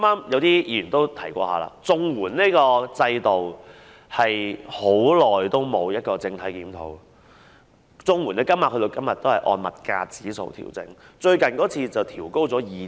有議員剛才提到，綜援制度已久未作整體檢討，綜援金額至今仍是按照物價指數作出調整。